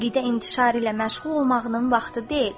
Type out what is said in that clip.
Əqidə intişarı ilə məşğul olmağının vaxtı deyil.